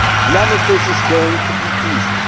None of this is going to be easy.